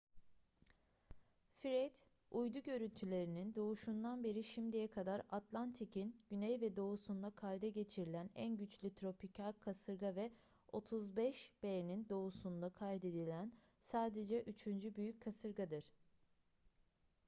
fred uydu görüntülerinin doğuşundan beri şimdiye kadar atlantik'in güney ve doğusunda kayda geçirilen en güçlü tropikal kasırga ve 35°b'nin doğusunda kaydedilen sadece üçüncü büyük kasırgadır